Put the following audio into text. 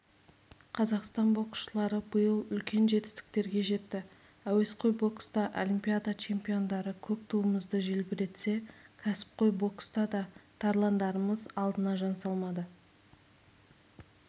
қазақстан боксшылары биыл үлкен жетістіктерге жетті әуесқой бокста олимпиада чемпиондары көк туымызды желбіретсе кәсіпқой бокста да тарландарымыз алдына жан салмады